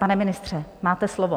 Pane ministře, máte slovo.